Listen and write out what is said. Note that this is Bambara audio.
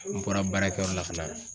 N bɔra baarakɛyɔrɔ la ka na.